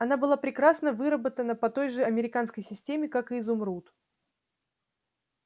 она была прекрасно выработана по той же американской системе как и изумруд